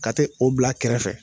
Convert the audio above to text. Ka t'o bila kɛrɛfɛ